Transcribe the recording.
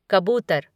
कबूतर